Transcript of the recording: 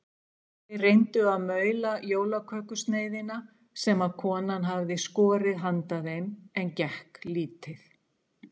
Þeir reyndu að maula jólakökusneiðina sem konan hafði skorið handa þeim en gekk lítið.